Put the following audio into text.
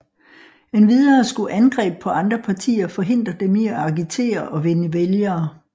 Endvidere skulle angreb på andre partier forhindre dem i at agitere og vinde vælgere